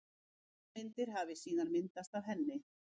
Aðrar myndir hafi síðan myndast af henni.